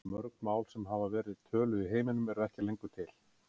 Mörg mál sem hafa verið töluð í heiminum eru ekki lengur til.